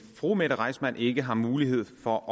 fru mette reissmann ikke har mulighed for at